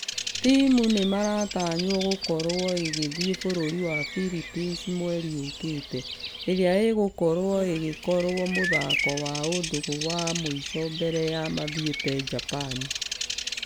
Timũ nĩìmĩratanywo gũkorwo igĩthie bũrũri wa Phillipines mweri ũkĩte . Ĩrĩa ĩgũkorwo ĩgĩkorwo mũthako wa ũndũgũ wa mũisho mbere ya mathiete japan.